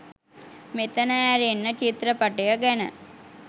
මෙතන ඇරෙන්න චිත්‍රපටය ගැන